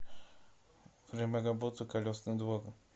время работы колесный двор